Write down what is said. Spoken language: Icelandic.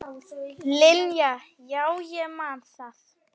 Linja, já ég man það.